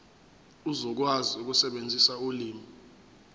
uzokwazi ukusebenzisa ulimi